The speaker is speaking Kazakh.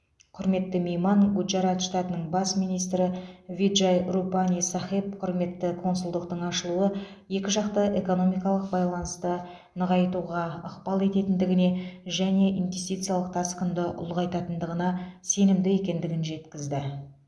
құрметті мейман гуджарат штатының бас министрі виджай рупани сахеб құрметті консульдықтың ашылуы екі жақты экономикалық байланыста нығайтуға ықпал ететіндігіне және инвестициялық тасқынды ұлғайтатындығына сенімді екендігін жеткізді